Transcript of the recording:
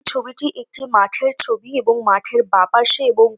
ছবিটি একটি মাঠের ছবি এবং মাঠের বা পাশে এবং --